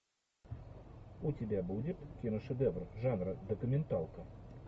у тебя будет киношедевр жанра документалка